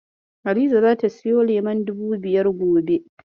Hadiza zata siyo lemon dubu biyar gobe.